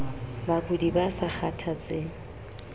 bakudi ba sa kgathatseng ie